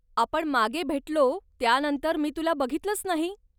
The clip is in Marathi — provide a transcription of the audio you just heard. आपण मागे भेटलो त्यानंतर मी तुला बघितलच नाही.